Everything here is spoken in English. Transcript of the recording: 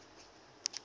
bofh editions took